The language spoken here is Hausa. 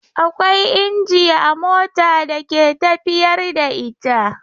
Akwai inji a mota da ke tafiyar da ita.